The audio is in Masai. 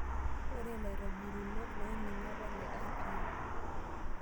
Ore ilaitobitunok ooning'o naa le IPM.